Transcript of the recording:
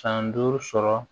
San duuru sɔrɔ